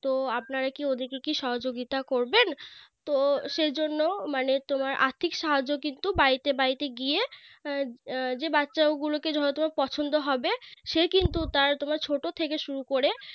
তো আপনারা কি ওইদিকে কি সহাযোগিতা করবেন তো সেই জন্য মানে তোমার আর্থিক সাহায্য কিন্তু বাড়িতে বাড়িতে গিয়ে যে বাচ্চাগুলোকে ধরো তোমার পছন্দ হবে সে কিন্তু তার তোমার ছোট থেকে শুরু করে